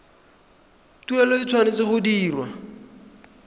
tuelo e tshwanetse go dirwa